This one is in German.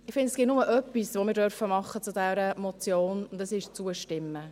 Ich finde, es gibt nur etwas, das wir bei dieser Motion tun dürfen, und das ist zustimmen.